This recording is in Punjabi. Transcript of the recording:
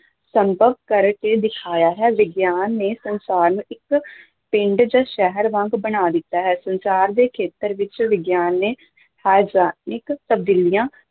ਸੰਭਵ ਕਰਕੇ ਦਿਖਾਇਆ ਹੈ ਵਿਗਿਆਨ ਨੇ ਸੰਸਾਰ ਨੂੰ ਇੱਕ ਪਿੰਡ ਜਾਂ ਸ਼ਹਿਰ ਵਾਂਗ ਬਣਾ ਦਿੱਤਾ ਹੈ ਸੰਸਾਰ ਦੇ ਖੇਤਰ ਵਿੱਚ ਵਿਗਿਆਨ ਨੇ ਤਬਦੀਲੀਆਂ